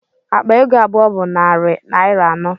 Akpa ego abụọ bụ narị naira anọ